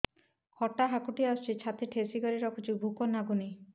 ଖଟା ହାକୁଟି ଆସୁଛି ଛାତି ଠେସିକରି ରଖୁଛି ଭୁକ ଲାଗୁନି